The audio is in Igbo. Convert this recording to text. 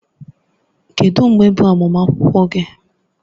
Kedu mgbe bụ agbamakwụkwọ gị?